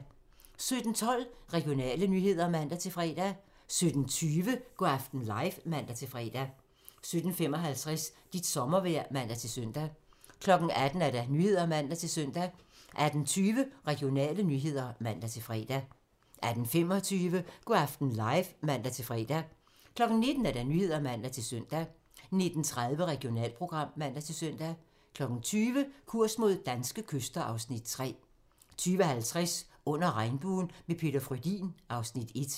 17:12: Regionale nyheder (man-fre) 17:20: Go' aften live (man-fre) 17:55: Dit sommervejr (man-søn) 18:00: Nyhederne (man-søn) 18:20: Regionale nyheder (man-fre) 18:25: Go' aften live (man-fre) 19:00: Nyhederne (man-søn) 19:30: Regionalprogram (man-søn) 20:00: Kurs mod danske kyster (Afs. 3) 20:50: Under regnbuen - med Peter Frödin (Afs. 1)